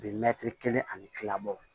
Bi mɛtiri kelen ani tilabɔ